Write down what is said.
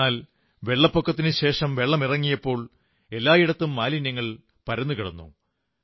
എന്നാൽ വെള്ളപ്പൊക്കത്തിനുശേഷം വെള്ളമിറങ്ങിയപ്പോൾ എല്ലായിടത്തും മാലിന്യം പരന്നു കിടന്നു